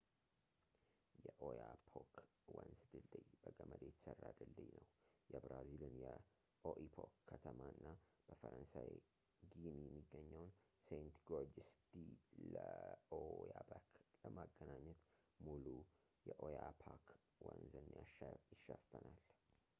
የኦያፖክ ወንዝ ድልድይ በገመድ የተሰራ ድልድይ ነው የብራዚልን የኦኢፖክ ከተማና በፈረንሳይ ጊኒ የሚገኘውን ሴንት-ጎርጅስ ዲ ለኦያበክ ለማገናኘት ሙሉ የኦያፖክ ወንዝን ይሸፈናል